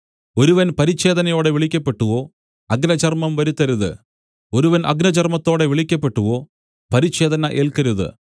ഒരുവൻ പരിച്ഛേദനയോടെ വിളിക്കപ്പെട്ടുവോ അഗ്രചർമം വരുത്തരുത് ഒരുവൻ അഗ്രചർമത്തോടെ വിളിക്കപ്പെട്ടുവോ പരിച്ഛേദന ഏൽക്കരുത്